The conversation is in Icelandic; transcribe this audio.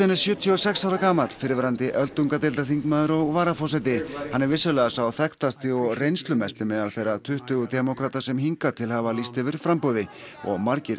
er sjötíu og sex ára gamall fyrrverandi öldungadeildarþingmaður og varaforseti hann er vissulega sá þekktasti og reynslumesti meðal þeirra tuttugu demókrata sem hingað til hafa lýst yfir framboði og margir